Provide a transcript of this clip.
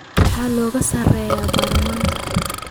Maxaa looga saarayaa baarlamaanka.